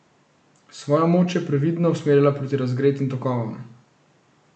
Svojo moč je previdno usmerila proti razgretim tokovom.